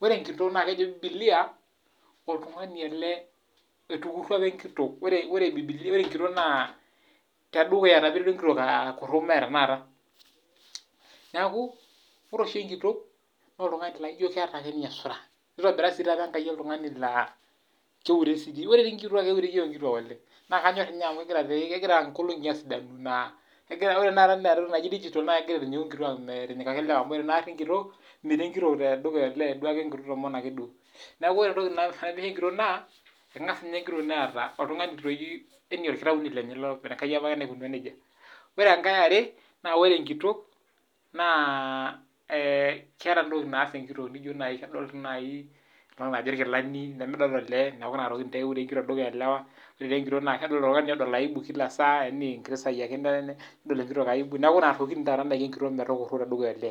aliki naa kejo bibilia oltungani ele otukurua apa enkitok. Ore enkitok naa tedukuya taa apa eiterua enkitok akurru mee tanakata. Niaku ore oshi enkitok naa oltungani laijo keeta ake ninye isura pooki kata keureisho. Ore tii nkituak keureisho oleng. Naa kanyorr doi amu kegira nkolongi aaponu naa ore tanakata ena toki naji digital naa kegira aisho nkituak metinyikaki ilewa amu ore naari enkitok ino meiro enkitok tedukuya. Mm duake enkitok. Niaku ore entoki narepie enkitok naa kengas ninye enkitok neeta oltungani lenye yaani orkitauni lenye naa Enkai apake naikunua nejia. Ore enkae e are naa ore enkitok naa keeta ntokitin naadol enkitok najio taata irkilani lemedol olee niaku inatoki taa eure enkitok tedukuya olee. Ore taa enkitok naa oltungani oldol aibu kila saa yaani enkiti saa ake eton nedol enkitok aibu tedukuya olee.